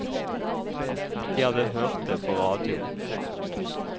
De hadde hørt det på radio.